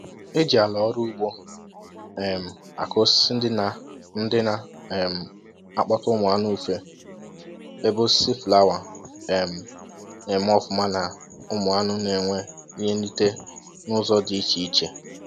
E jì àlà ọrụ ugbo um akụ osisi ndị na ndị na um akpota ụmụ anụ ufe ,ebe osisi fụlawa um na eme ọfụma na ụmụ aṅụ n'enwe ihe nrite n'ụzọ dị iche iche